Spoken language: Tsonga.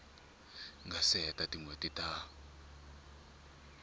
nga se hela tinhweti ta